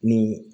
N'u